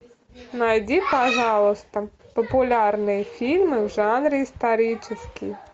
найди пожалуйста популярные фильмы в жанре исторический